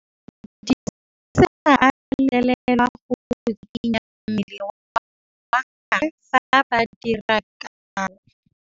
Modise ga a letlelelwa go tshikinya mmele wa gagwe fa ba dira karô.